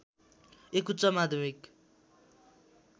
एक उच्च माध्यमिक